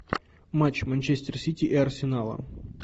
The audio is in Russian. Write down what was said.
матч манчестер сити и арсенала